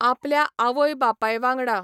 आपल्या आवय बापाय वांगडा